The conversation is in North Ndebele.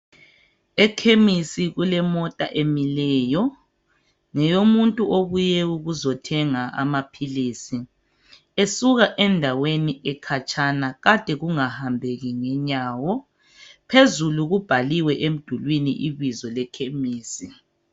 Ekhemisi kulemota emileyo, ngeyomuntu obuye ukuzothenga amaphilizi. Esuka endaweni ekhatshana kade kungahambeki ngenyawo. Phezulu kubhaliwe emdulwini ibizo lekhemisi.